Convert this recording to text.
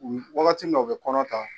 wagati min na u bɛ kɔnɔ ta